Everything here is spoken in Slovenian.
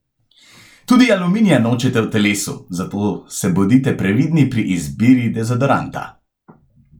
Tudi aluminija nočete v telesu, zato se bodite previdni pri izbiri dezodoranta!